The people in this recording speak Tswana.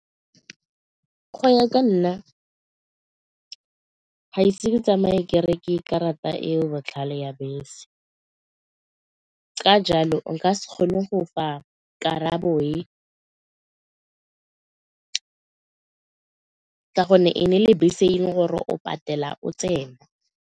Go ya ka nna ga ise ke tsamaye ke reke dikarata e e botlhale ya bese ka jalo nka se kgone go fa karabo e ka gonne e ne e le bese e leng gore o patela o tsena.